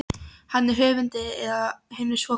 Hann er höfundur að hinu svokallaða